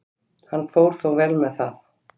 Hann fór þó vel með það.